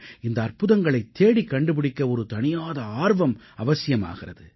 இந்த அற்புதங்களைத் தேடிக் கண்டுபிடிக்க ஒரு தணியாத ஆர்வம் அவசியமாகிறது